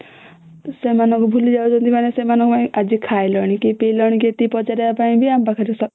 ସେମାନଙ୍କୁ ଭୁଲି ଯାଉଛନ୍ତି ମାନେ ସେମାନଙ୍କ ପାଇଁ ଆଜି ଖାଇଲଣି କି ପି ଲଣି ଏତିକି ପଚାରିବାକୁ ଆମ ପାଖରେ ସ..